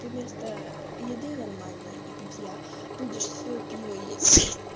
ты вместо еды нормальной и питья будешь своё пиво есть